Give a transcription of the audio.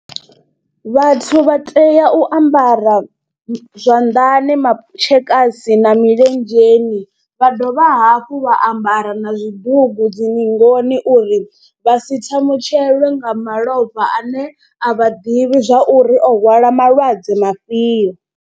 Vhathu vha tea u ambara zwanḓani matshekasi na milenzheni vha dovha hafhu vha ambara na zwidugu dzi ningoni uri vha si thamutshelwe nga malofha ane a vha ḓivhi zwa uri o hwala malwadze mafhio.